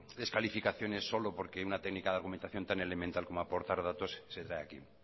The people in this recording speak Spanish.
de descalificaciones solo porque una técnica de argumentación tan elemental como aportar datos se trae aquí